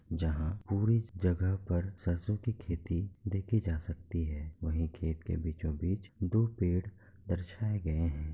जहाँ पूरी जगह पर सरसो की खेती देखी जा सकती है वही खेत के बीचो बीच दो पेड़ दर्शाए गए हैं।